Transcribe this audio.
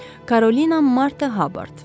Karolina Marta Habard.